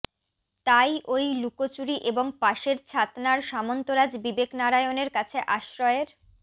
তাই ওই লুকোচুরি এবং পাশের ছাতনার সামন্তরাজ বিবেকনারায়ণের কাছে আশ্রয়ের